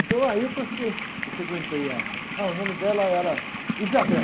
Então aí é que eu frequen, que eu frequentei a... Ah, o nome dela era.